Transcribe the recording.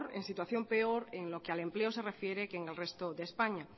en situación peor en lo que al empleo se refiere que en el resto de españa